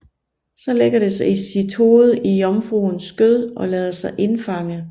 Så lægger det sit hoved i jomfruens skød og lader sig indfange